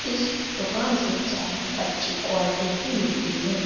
इस दुकान से चाय अच्छी क्वालिटी की मिलती है।